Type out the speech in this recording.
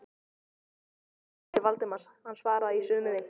Konan kinkaði kolli til Valdimars, hann svaraði í sömu mynt.